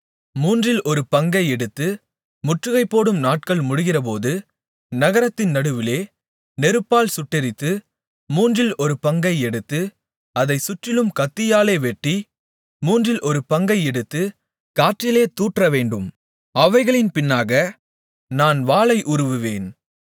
மூன்றில் ஒரு பங்கை எடுத்து முற்றுகைபோடும் நாட்கள் முடிகிறபோது நகரத்தின் நடுவிலே நெருப்பால் சுட்டெரித்து மூன்றில் ஒரு பங்கை எடுத்து அதைச் சுற்றிலும் கத்தியாலே வெட்டி மூன்றில் ஒரு பங்கை எடுத்துக் காற்றிலே தூற்றவேண்டும் அவைகளின் பின்னாக நான் வாளை உருவுவேன்